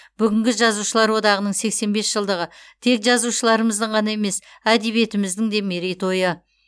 бүгінгі жазушылар одағының сексен бес жылдығы тек жазушыларымыздың ғана емес әдебиетіміздің де мерей тойы